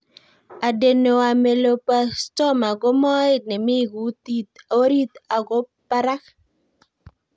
Adenoameloblastoma ko moet ne mii kutit orit ako parak